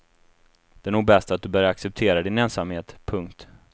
Det är nog bäst du börjar acceptera din ensamhet. punkt